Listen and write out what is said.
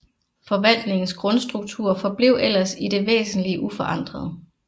Forvaltningens grundstruktur forblev ellers i det væsentlige uforandret